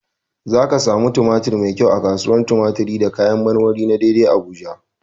Za ka samu tumatir mai kyau a kasuwar tumatiri da kayan marmari na dei dei Abuja.